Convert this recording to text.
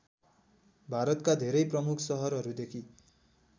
भारतका धेरै प्रमुख सहरहरूदेखि